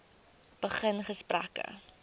begin gesprekke